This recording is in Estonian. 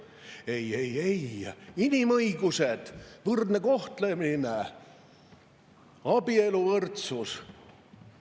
"Ei, ei, ei, inimõigused, võrdne kohtlemine, abieluvõrdsus!